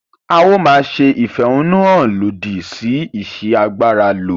A o máa ṣe ìfẹ̀húnnún hàn lòdì sí ìsi agbára lò.